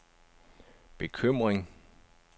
bekymring